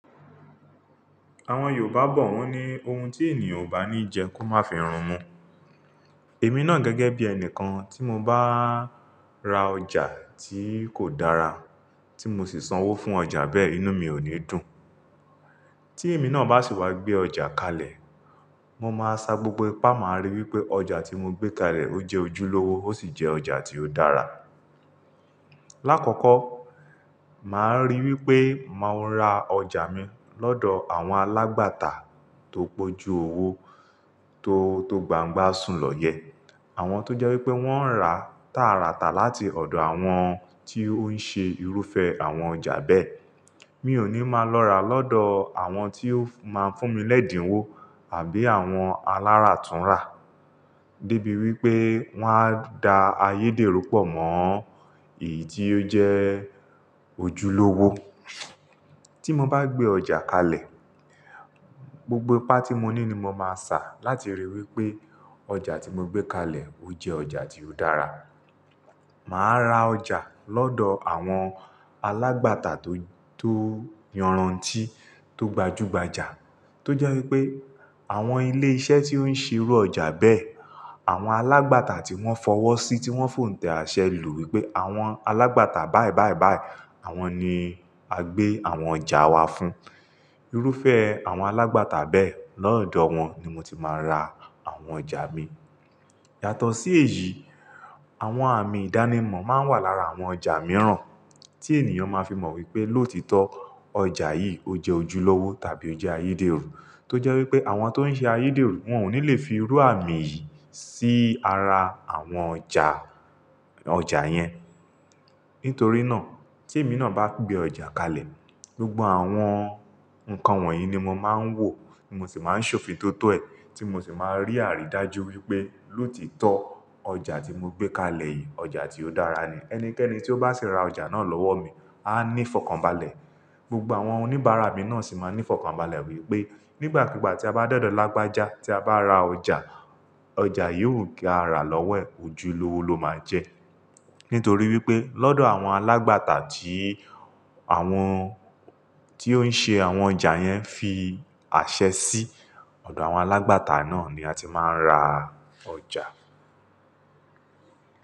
Àwọn Yorùbá bọ̀ wọ́n ní ohun tí ènìyàn ò bá ní jẹ kó má fi run'mu. Èmi ná gẹ́gẹ́ bí ẹni kan tí mo bá ra ọjà tí kò dára, tí mo sì sanwó fún ọjà bẹ́ẹ̀, inú mi ò ní dùn. Tí èmi náà bá sì wá gbé ọjà kalẹ̀, mo máa sa gbogbo ipá, màá rí wí pé ọjà tí mo gbé kalẹ̀ o jẹ ojúlówó, ó sì jẹ́ ọjà tí ó dára. Láàkọ́kọ́, màá rí wí pé màá n ra ọjà mi lọ́dọ̀ àwọn alágbàtà tó pó ju owó tó tó gbàǹgbá sùn lọ yẹ. Àwọn tó jẹ́ wí pé wọ́n rà tàràtà láti ọ̀dọ̀ àwọn tí ó ń ṣe irúfẹ́ àwọn ọjà bẹ́ẹ̀. Mi ò ní máa lọ rà lọ́dọ̀ àwọn tí ó máa ń fún mi lẹ́dìnwó àbí àwọn aláràtúnrà. Dé bí wí pé wọ́n á da ayédèrú pọ̀ mọ́, èyí tí ó jẹ́ ojúlówó. Tí mo bá gbé ọjà kalẹ̀, gbogbo ipá tí mo ní ni mo máa sa láti rí i wí pé ọjà tí mo gbé kalẹ̀ o jẹ ọjà tí ó dára. Màá ra ọjà lọ́dọ̀ àwọn alágbàtà tó, tó yọròntí, tó gbajúgbajà. Tó jẹ́ wí pé àwọn ilé iṣẹ́ tí ó ń ṣe irú ọjà bẹ́ẹ̀, àwọn alágbàtà tí wọ́n fọwọ́ sí, tí wọ́n fòǹtẹ̀ àṣẹ lù wí pé àwọn alágbàtà báì báì báì, àwọn ni a gbé àwọn ọjà wa fún. Irúfẹ́ àwọn alágbàtà bẹ́ẹ̀ lọ́dọ̀ wọn ni mo ti máa ń ra àwọn ọjà mi. Yàtọ̀ sí èyí, àwọn àmì ìdánimọ̀ máa ń wà lára àwọn ọjà mìíràn tí ènìyàn máa fi mọ̀ wí pé lóòtítọ́ ọjà yìí o jẹ́ ojúlówó tàbí o jẹ́ ayédèrú. Tó jẹ́ wí pé àwọn tó ń ṣe ayédèrú wọn ò ní le fi rú àmì yìí sí ara àwọn ọjà, ọjà yẹn. Nítorí náà tí èmi náà bá gbé ọjà kalẹ̀, gbogbo àwọn nǹkan wọ̀nyí ni mo máa ń wò mo sì máa ń ṣòfin tótó ẹ́, tí mo sì máa rí àrí dájú wí pé lóòtítọ́ ọjà tí mo gbé kalẹ̀ yìí, ọjà tí ó dára ni. Ẹnikẹ́ni tí ó bá sì ra ọjà náà lọ́wọ́ mi a ní ìfọ̀kànbalẹ̀. Gbogbo àwọn oníbàárà mi náà sì máa ní ìfọ̀kànbalẹ̀ wí pé nígbàkúgbà tí a bá dọ̀dọ̀ lágbájá tí a bá ra ọjà, ọjà yóò ga rà lọ́wọ́ ẹ̀, ojúlówó ló máa jẹ́. Nítorí wí pé lọ́dọ̀ àwọn alágbàtà tí àwọn tí ó ń ṣe àwọn ọjà yẹn fi àṣẹ sí, ọ̀dọ̀ àwọn alágbàtà náà ni a ti máa ń ra ọjà.